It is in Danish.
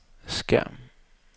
skærm